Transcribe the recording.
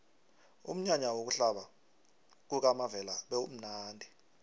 umnyanya wokuhlaba kukamavela bewumnadi